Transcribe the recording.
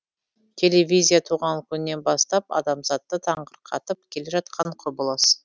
телевизия туған күнінен бастап адамзатты таңырқатып келе жатқан құбылыс